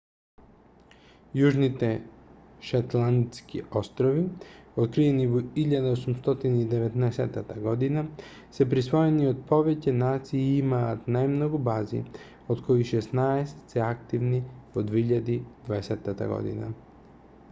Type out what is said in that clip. јужните шетландски острови откриени во 1819 г се присвоени од повеќе нации и имаат најмногу бази од кои шеснаесет се активни во 2020 г